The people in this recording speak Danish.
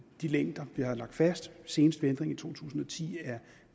de længder der er lagt fast senest ved ændringen i to tusind og ti er